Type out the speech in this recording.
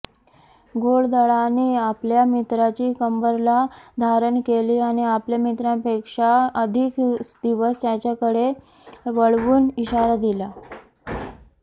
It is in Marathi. घोडदळाने आपल्या मित्राची कंबरला धारण केली आणि आपल्या मित्रांपेक्षा अधिक दिवस त्याच्याकडे वळवून इशारा दिला